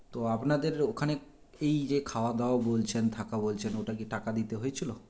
তো আপনাদের ওখানে এইযে খাওয়া দাওয়া বলছেন থাকা বলছেন ওটাকি টাকা দিতে হয়েছিল